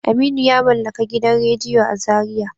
Aminu yamallaka gidan radiyo a zariya.